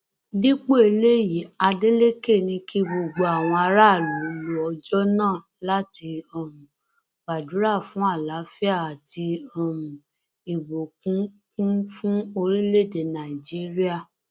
dípò eléyìí adeleke ní kí gbogbo àwọn aráàlú lo ọjọ náà láti um gbàdúrà fún àlàáfíà àti um ìbùkúnkún fún orílẹèdè nàíjíríà